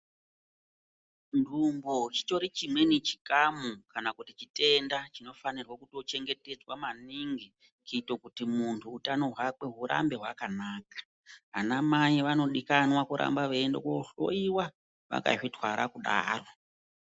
Ndumbu chitori chimwe chikamu kana chitenda chinofanirwa kuchengetedzwa maningi kuita kuti muntu hutano hwake hurambe hwakanaka ana mai vanodikanwa kuti varambe veienda kohloiwa vakazvitwara kudaro.